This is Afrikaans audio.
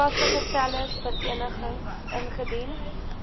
toepaslike telersvereniging ingedien